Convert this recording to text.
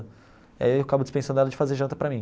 Aí eu acabo dispensando ela de fazer janta para mim.